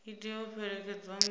i tea u fhelekedzwa nga